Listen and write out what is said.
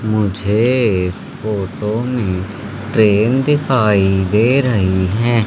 मुझे इस फोटो में ट्रेन दिखाई दे रही है।